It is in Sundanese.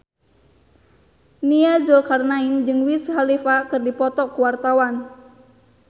Nia Zulkarnaen jeung Wiz Khalifa keur dipoto ku wartawan